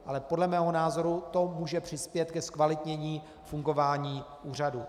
Ale podle mého názoru to může přispět ke zkvalitnění fungování úřadu.